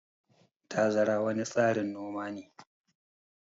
Tazara wani tsarin noma ne.